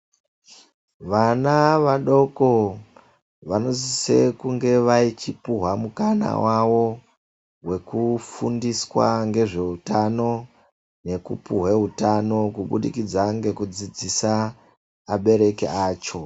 Vana vadoko vanosise kunge achipuhwa mukana wavo wekufundiswa nezveutano pamweni kubudikidza ngekudzidzisa abereki acho.